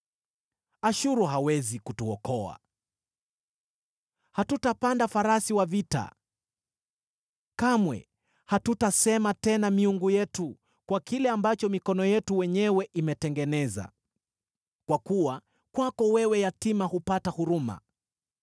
Ashuru hawezi kutuokoa, hatutapanda farasi wa vita. Kamwe hatutasema tena ‘Miungu yetu’ kwa kile ambacho mikono yetu wenyewe imetengeneza, kwa kuwa kwako wewe yatima hupata huruma.”